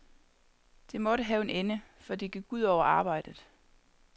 Det måtte have en ende, for det gik ud over arbejdet.